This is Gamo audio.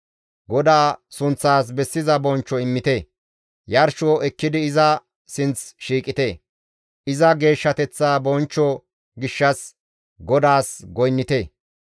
GODAA sunththaas bessiza bonchcho immite; yarsho ekkidi iza sinth shiiqite; iza geeshshateththa bonchcho gishshas GODAAS goynnite.